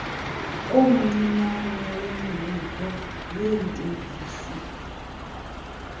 omncinane wemibutho yeetekisi